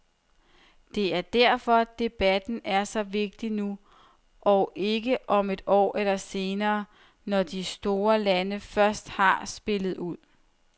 Det er derfor, debatten er så vigtig nu, og ikke om et år eller senere, når de store lande først har spillet ud.